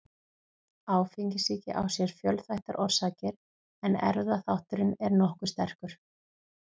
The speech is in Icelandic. Áfengissýki á sér fjölþættar orsakir en erfðaþátturinn er nokkuð sterkur.